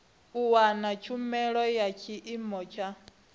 wana tshumelo ya tshiimo tsha